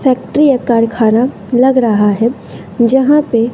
factory या कारखाना लग रहा है जहां पे--